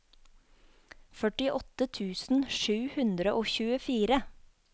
førtiåtte tusen sju hundre og tjuefire